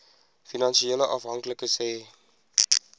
finansiële afhanklikes hê